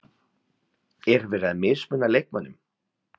Er verið að mismuna leikmönnum?